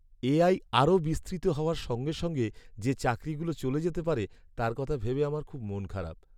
AI আরও বিস্তৃত হওয়ার সঙ্গে সঙ্গে যে চাকরিগুলো চলে যেতে পারে তার কথা ভেবে আমার খুব মন খারাপ।